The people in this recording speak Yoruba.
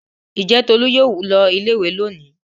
Ǹjẹ́ Tolú yóò lọ ilé-ìwé lónìí?